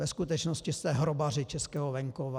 Ve skutečnosti jste hrobaři českého venkova.